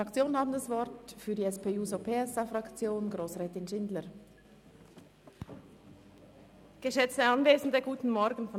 Die Fraktionen haben das Wort, zuerst Grossrätin Schindler für die SP-JUSO-PSA-Fraktion.